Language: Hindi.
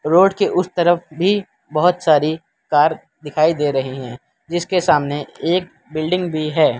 रोड के उस तरफ भी बहोत सारी कार दिखाई दे रहीं हैं जिसके सामने एक बिल्डिंग भी है।